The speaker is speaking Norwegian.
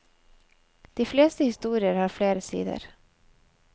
De fleste historier har flere sider.